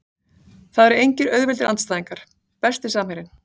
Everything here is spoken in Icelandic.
Það eru engir auðveldir andstæðingar Besti samherjinn?